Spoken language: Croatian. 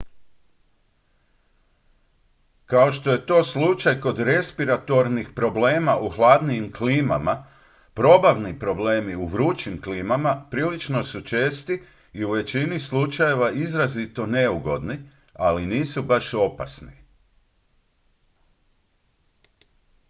kao što je to slučaj kod respiratornih problema u hladnijim klimama probavni problemi u vrućim klimama prilično su česti i u većini slučajeva izrazito neugodni ali nisu baš opasni